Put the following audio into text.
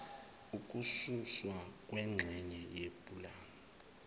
ukususwa kwengxenye yepulani